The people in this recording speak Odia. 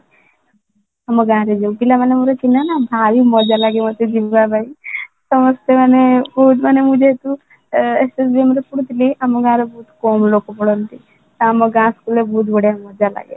ଆମ ଗାଁ ରେ ହୁଏ ପିଲାମାନଙ୍କର ପିଲା ନା ଭାରି ମଜା ଲାଗେ ମତେ ଯିବା ପାଇଁ ତ ସେ ଆମ ପୁଅ ଯେହେତୁ SSVM ରେ ପଢୁଥିଲେ ଆମ ଗାଁ ର ବହୁତ କମ ଲୋକ ପଢ଼ନ୍ତି ତ ଆମ ଗାଁ school ରେ ବହୁତ ବଢିଆ ଭଲ ମଜା ଲାଗେ